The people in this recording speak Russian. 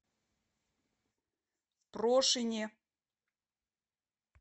прошине